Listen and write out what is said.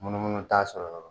Munumunu t'a sɔrɔ yɔrɔ